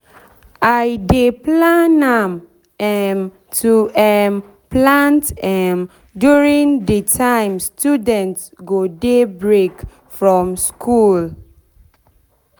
i dey plan am um to um plant um during de time student go dey break from school school